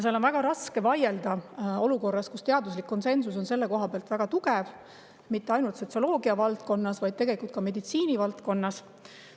Ja on väga raske vaielda olukorras, kus teaduslik konsensus on selle koha pealt väga tugev mitte ainult sotsioloogia valdkonnas, vaid tegelikult ka meditsiinivaldkonnas.